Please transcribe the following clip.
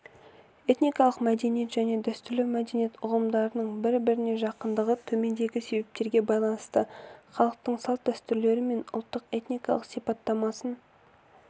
этникалық мәдениет және дәстүрлі мәдениет ұғымдарының бір-біріне жақындығы төмендегі себептерге байланысты халықтың салт-дәстүрлері ұлттың этникалық сипаттамасын